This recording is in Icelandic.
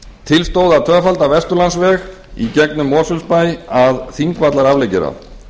til stóð að tvöfalda vesturlandsveg í gegnum mosfellsbæ að þingvallaafleggjara